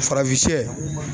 Farafin shɛ